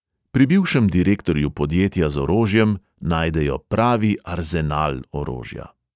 Pri bivšem direktorju podjetja z orožjem najdejo pravi arzenal orožja.